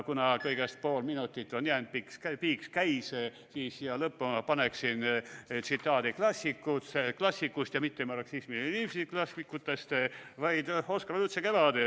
Kuna kõigest pool minutit on jäänud – piiks käis –, siis siia lõppu ma paneksin tsitaadi klassikutelt ja mitte marksismi ja leninismi klassikutelt, vaid Oskar Lutsu "Kevadest".